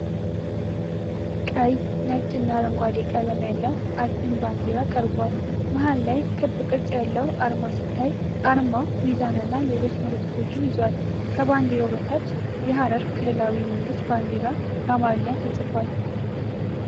ቀይ፣ ነጭ እና አረንጓዴ ቀለም ያለው አግድም ባንዲራ ቀርቧል። መሀል ላይ ክብ ቅርጽ ያለው አርማ ሲታይ፣ አርማው ሚዛንና ሌሎች ምልክቶችን ይዟል። ከባንዲራው በታች "የሀረሪ ክልላዊ መንግስት ባንዲራ" በአማርኛ ተጽፏል።